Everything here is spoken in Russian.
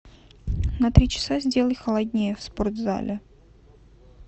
на три часа сделай холоднее в спортзале